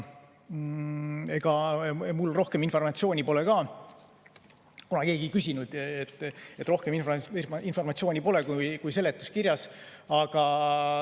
Kuna keegi ei küsinud, siis ega mul rohkem informatsiooni pole ka, kui on seletuskirjas.